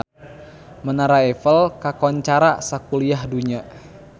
Menara Eiffel kakoncara sakuliah dunya